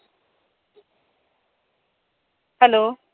Hello